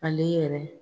Ale yɛrɛ